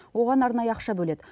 оған арнайы ақша бөледі